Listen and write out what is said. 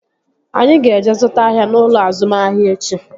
Anyị ga-eje zụta ahịa n'ụlọ azụmahịa echi